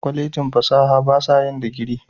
Kwallejin fasaha ba sa yin digiri.